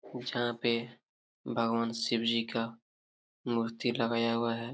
जहां पे भगवान शिव जी का मूर्ति लगाया हुआ हैं।